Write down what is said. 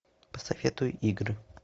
посоветуй игры